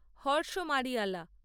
Harsh Mariyala